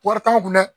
Wari t'anw kun dɛ